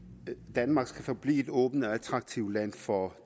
danmark skal forblive et åbent og attraktivt land for